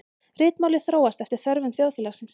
Ritmálið þróaðist eftir þörfum þjóðfélagsins.